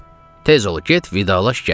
Tez ol, get, vidalaş gəl.